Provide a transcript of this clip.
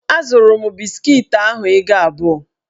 Azụrụ m biskiti ahụ ego abụọ.